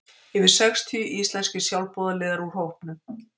Yfir sextíu íslenskir sjálfboðaliðar úr hópum